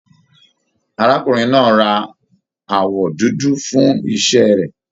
Arákùnrin náà rà awọ dúdú fún iṣẹ rẹ.